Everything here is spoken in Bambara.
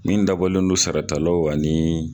Min dabɔlen don saratalaw ani